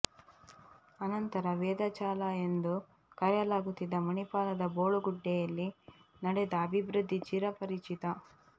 ಅನಂತರ ವೇದಾಚಲ ಎಂದು ಕರೆಯಲಾಗುತ್ತಿದ್ದ ಮಣಿಪಾಲದ ಬೋಳುಗುಡ್ಡೆಯಲ್ಲಿ ನಡೆದ ಅಭಿವೃದ್ಧಿ ಚಿರಪರಿಚಿತ